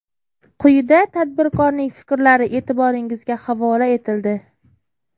Quyida tadbirkorning fikrlari e’tiboringizga havola etildi.